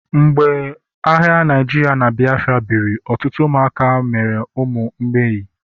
mgbe agha Naijirịa na Biafra biri, ọtụtụ ụmụaka mere ụmụ mgbei